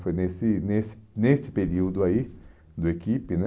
Foi nesse nesse nesse período aí, do equipe, né?